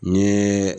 N ye